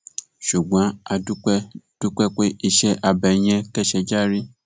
ṣùgbọn a dúpẹ dúpẹ pé iṣẹ abẹ yẹn kẹsẹ járí